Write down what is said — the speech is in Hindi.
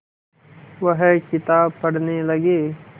वह किताब पढ़ने लगे